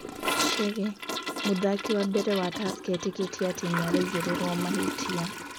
Chege: Mũthaki wa mbere wa Tursker etĩkĩtĩe atĩ nĩ araigĩrĩrwo mahĩtia